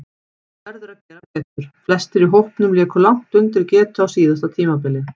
Verður að gera betur: Flestir í hópnum léku langt undir getu á síðasta tímabili.